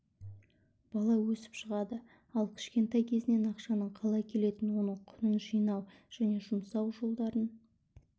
бала өсіп шығады ал кішкентай кезінен ақшаның қалай келетінін оның құнын жинау және жұмсау жолдарын